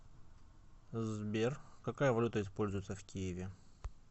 сбер какая валюта используется в киеве